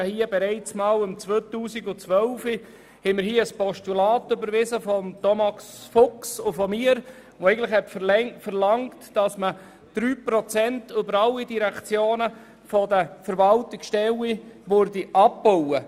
Wir hatten bereits im Jahr 2012 ein Postulat von Thomas Fuchs und mir überwiesen, welches verlangte, 3 Prozent der Verwaltungsstellen in allen Direktionen abzubauen.